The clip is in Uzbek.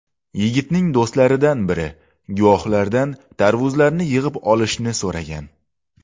Yigitning do‘stlaridan biri guvohlardan tarvuzlarni yig‘ib olishni so‘ragan.